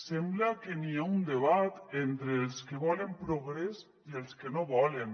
sembla que hi ha un debat entre els que volen progrés i els que no en volen